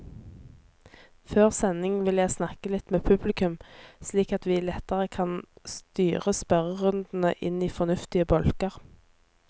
Før sending vil jeg snakke litt med publikum, slik at vi lettere kan styre spørrerundene inn i fornuftige bolker.